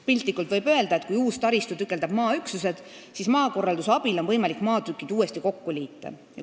Piltlikult võib öelda, et kui uus taristu tükeldab maaüksused, siis maakorralduse abil on võimalik maatükid uuesti kokku liita.